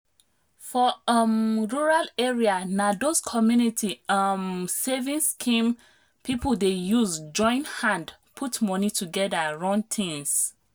for um rural area na those community um savings scheme people dey use join hand put money together run things.